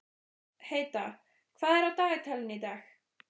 Heida, hvað er á dagatalinu í dag?